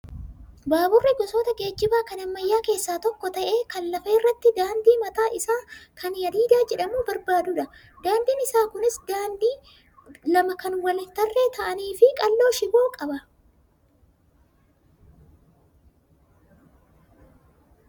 Baaburri gosoota geejjibaa kan ammayyaa keessaa tokko ta'ee kan lafa irratti daandii mataasaa kan hadiida jedhamu barbaadudha. Daandiin isaa Kunis daandii lama kanneen wal tarree ta'anii fi qal'oo shiboo qaba